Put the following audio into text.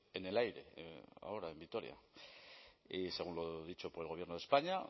en el aire ahora en vitoria y según lo dicho por el gobierno de españa